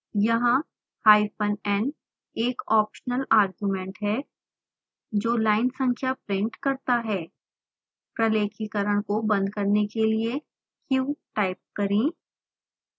यहाँ hyphen n एक optional argument है जो लाइन संख्या प्रिंट करता है प्रलेखीकरण को बंद करने के लिए q टाइप करें